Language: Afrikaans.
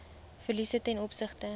verliese ten opsigte